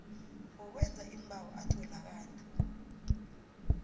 wokwenza iimbawo atholakala